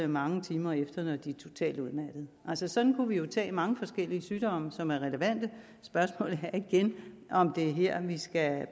mange timer efter når de er totalt udmattede sådan kunne vi jo tage mange forskellige sygdomme som er relevante spørgsmålet er igen om det er her vi skal